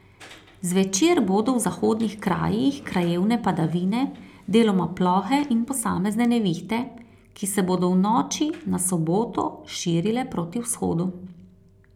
Zvečer bodo v zahodnih krajih krajevne padavine, deloma plohe in posamezne nevihte, ki se bodo v noči na soboto širile proti vzhodu.